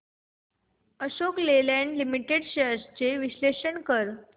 Ashok Leyland limited shares चे विश्लेषण कर